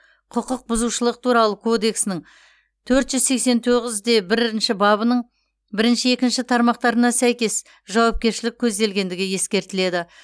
құқық бұзушылық туралы кодексінің төрт жүз сексен тоғыз бірінші бабының бірінші екінші тармақтарына сәйкес жауапкершілік көзделгендігі ескертіледі